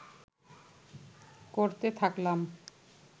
করতে থাকলাম